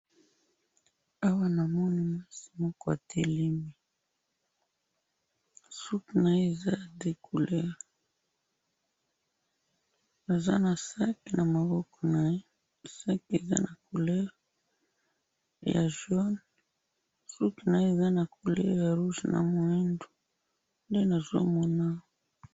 awa namoni mwasi moko atelemi, suki naye eza ya deux couleurs, aza na sac na maboko naye, sac eza na couleur ya jaune, suki naye eza na couleurs ya rouge na moindo, nde nazo mona awa